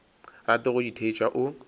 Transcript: rate go di theetša o